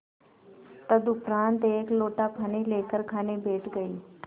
तदुपरांत एक लोटा पानी लेकर खाने बैठ गई